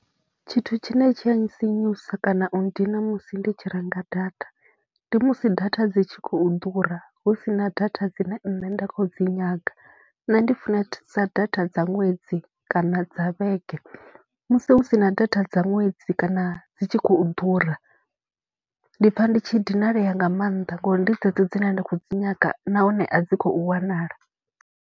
Tshithu tshine tshi a ntsinyusa kana u nndina musi ndi tshi renga data, ndi musi data dzi tshi khou ḓura hu si na data dzine nṋe nda khou dzi nyaga. Nṋe ndi funesa data dza ṅwedzi kana dza vhege, musi hu si na data dza ṅwedzi kana dzi tshi khou ḓura ndi pfha ndi tshi dinalea nga maanḓa ngori ndi dzedzo dzine nda khou dzi nyaga nahone a dzi khou wanala.